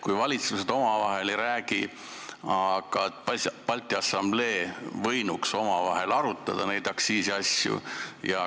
Kui valitsused omavahel ei räägi, siis Balti Assamblee võinuks omavahel neid aktsiisiasju arutada.